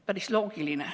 Päris loogiline.